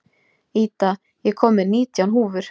Ida, ég kom með nítján húfur!